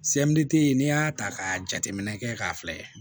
Semi tɛ n'i y'a ta ka jateminɛ kɛ k'a filɛ